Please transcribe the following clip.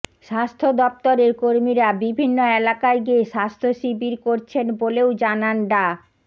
স্বাস্থ্য দফতরের কর্মীরা বিভিন্ন এলাকায় গিয়ে স্বাস্থ্য শিবির করছেন বলেও জানান ডা